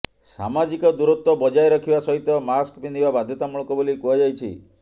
ସାମାଜିକ ଦୂରତ୍ୱ ବଜାୟ ରଖିବା ସହିତ ମାସ୍କ ପିନ୍ଧିବା ବାଧ୍ୟତାମୂଳକ ବୋଲି କୁହାଯାଇଛି